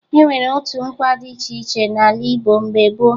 E nwere otu nkwa dị iche iche n'ala Igbo mgbe gboo